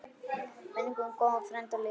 Minning um góðan frænda lifir.